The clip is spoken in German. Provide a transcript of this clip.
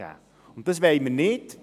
»– Das wollen wir nicht.